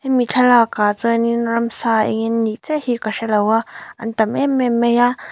mi thlalak ah chuanin ramsa eng nge an nih chiah hi ka hrelo a an tam em em mai a.